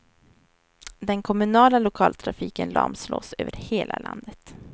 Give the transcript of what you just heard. Den kommunala lokaltrafiken lamslås över hela landet.